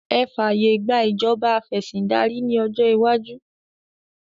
Ẹ fàyè gbà ìjọba afẹ̀sìndárí ní ọjọ́ iwájú!